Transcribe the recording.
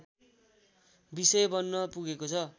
विषय बन्न पुगेको छ